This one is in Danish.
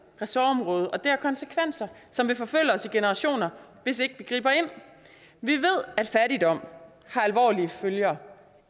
ressortområde og det har konsekvenser som vil forfølge os i generationer hvis ikke vi griber ind vi ved at fattigdom har alvorlige følger